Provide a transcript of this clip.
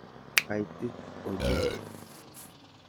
Kaitit ochei.